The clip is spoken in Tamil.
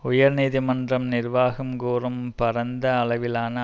உயர் நீதி மன்றம் நிர்வாகம் கூறும் பரந்த அளவிலான